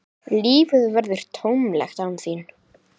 Lífið verður tómlegt án þín.